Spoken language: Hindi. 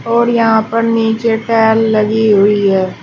और यहां पर नीचे टाइल लगी हुई है।